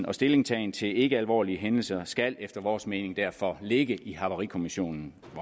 og stillingtagen til ikkealvorlige hændelser skal efter vores mening derfor ligge i havarikommissionen